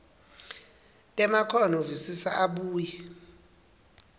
temakhono visisa abuye